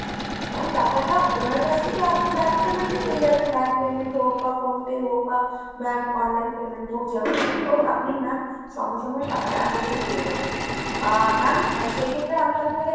ma'am টাকাটা ওনার কাছ থেকে আপনি bank payment এ পেয়ে যাবেন bank payment হোক বা phone pay হোক বা bank online payment হোক যেরম করেই হোক আপনি ma'am সঙ্গে সঙ্গে আপনি টাকাটা আশা করি পেয়ে যাবেন। আহ ma'am সেইক্ষেত্রে আমি আপনাকে একটা